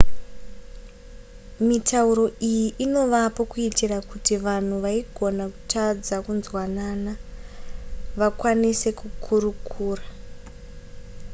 mitauro iyi inovapo kuitira kuti vanhu vaigona kutadza kunzwanana vakwanise kukurukura